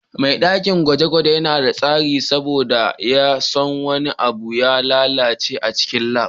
Ma'aikacin dakin gwaje-gwaje yana da tsari saboda baya son wani abu ya lalace a cikin lab.